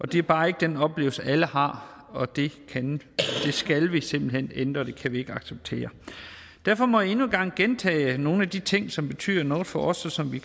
det er bare ikke den oplevelse alle har og det skal vi simpelt hen ændre og det kan vi ikke acceptere derfor må jeg endnu en gang gentage nogle af de ting som betyder noget for os og som vi